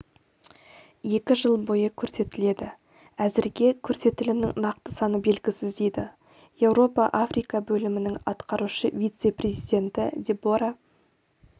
екі жыл бойы көрсетіледі әзірге көрсетілімнің нақты саны белгісіз дейді еуропа-африка бөлімінің атқарушы вице-президенті дебора